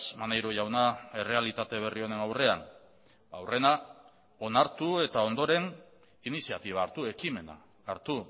maneiro jauna errealitate berri honen aurrean aurrena onartu eta ondoren iniziatiba hartu ekimena hartu